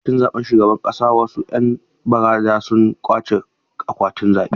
A lokacin zaɓen shugaban ƙasa, wasu ‘yan baranda sun ƙwace akwatunan zaɓe.